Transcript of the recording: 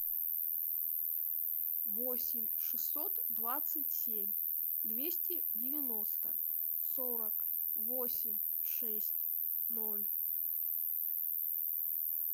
восемь шестьсот двадцать семь двести девяносто сорок восемь шесть ноль